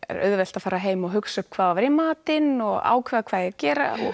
auðvelt að fara heim og hugsa um hvað ætti að vera í matinn og ákveða hvað eigi að gera